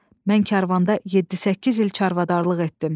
Mən karvanda yeddi-səkkiz il çarvadarlıq etdim.